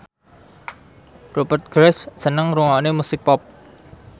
Rupert Graves seneng ngrungokne musik pop